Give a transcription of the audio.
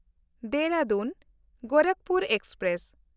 ᱫᱮᱦᱨᱟᱫᱩᱱ–ᱜᱳᱨᱟᱠᱷᱯᱩᱨ express